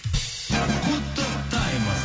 құттықтаймыз